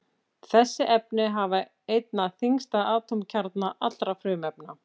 Þessi efni hafa einna þyngsta atómkjarna allra frumefna.